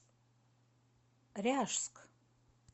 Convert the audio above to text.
ряжск